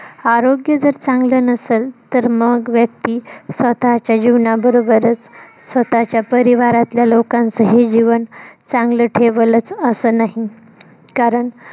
आरोग्य जर, चांगलं नसल तर, मग व्यक्ती स्वतःच्या जीवनाबरोबरच स्वतःच्या परिवारा तल्या लोकांचही जीवन चांगलं ठेवलंच असं नाही कारण